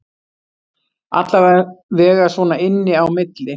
Allavega svona inni á milli